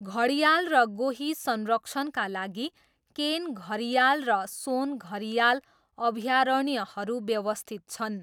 घडियाल र गोही संरक्षणका लागि केन घरियाल र सोन घरियाल अभयारण्यहरू व्यवस्थित छन्।